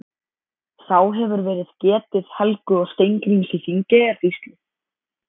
Þá hefur verið getið Helgu og Steingríms í Þingeyjarsýslu.